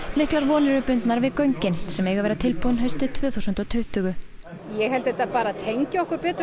miklar vonir eru bundnar við göngin sem eiga að vera tilbúin haustið tvö þúsund og tuttugu ég held að þetta tengi okkur betur